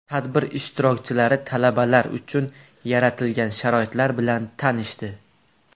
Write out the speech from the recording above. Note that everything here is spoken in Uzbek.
Tadbir ishtirokchilari talabalar uchun yaratilgan sharoitlar bilan tanishdi.